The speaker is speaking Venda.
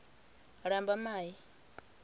lambamai